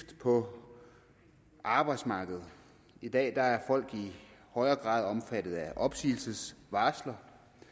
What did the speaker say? på arbejdsmarkedet i dag er folk i højere grad omfattet af opsigelsesvarsler